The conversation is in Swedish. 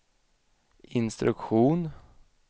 instruktion